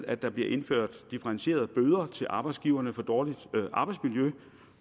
at der bliver indført differentierede bøder til arbejdsgiverne for dårligt arbejdsmiljø